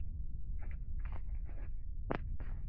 Lirfan nærist á ýmsum grösum.